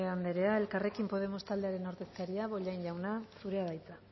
anderea elkarrekin podemos taldearen ordezkaria bollain jauna zurea da hitza